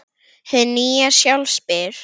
Hið nýja sjálf spyr